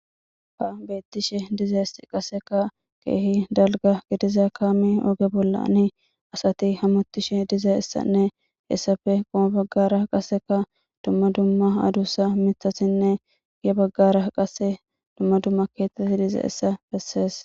Ha betishe dizaysa qasekka kehi dalga gidiza kame oge bollan asati hamutishe dizaysanne hesafe toho bagara qasekka dumma dumma adusa mitatinne he bagara qase dumma dumma kethati dizaysa besese